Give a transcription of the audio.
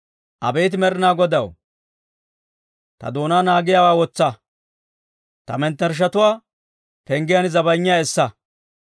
Abeet Med'inaa Godaw, ta doonaa naagiyaawaa wotsa; ta mettershshatuwaa penggiyaan zabayinyaa essa.